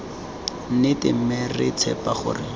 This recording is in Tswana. nnete mme re tshepa gore